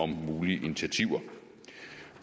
mulige initiativer